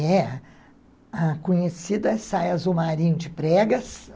É. A conhecida saia azul marinho de pregas.